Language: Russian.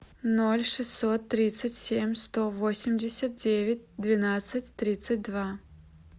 ноль шестьсот тридцать семь сто восемьдесят девять двенадцать тридцать два